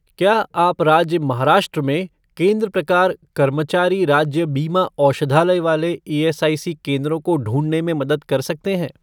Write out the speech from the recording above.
क्या आप राज्य महाराष्ट्र में केंद्र प्रकार कर्मचारी राज्य बीमा औषधालय वाले ईएसआईसी केंद्रों को ढूँढने में मदद कर सकते हैं?